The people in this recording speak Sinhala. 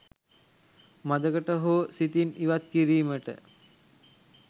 මද කට හෝ සිතින් ඉවත් කිරීමට